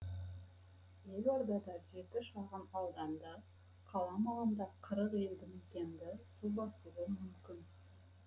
елордада жеті шағын ауданды қала маңында қырық елді мекенді су басуы мүмкін